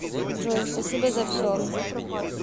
джой спасибо за все